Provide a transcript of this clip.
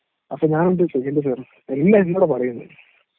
അപ്പൊ ഞാൻ എന്താ ചെയ്യേണ്ടത് എന്ന് പറ.. എല്ലാം എന്നോടാ പറയുന്നത്.